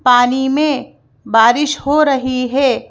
पानी में बारिश हो रही है।